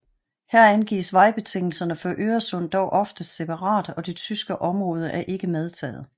Her angives vejrbetingelserne for Øresund dog oftest separat og det tyske område er ikke medtaget